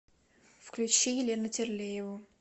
включи елену терлееву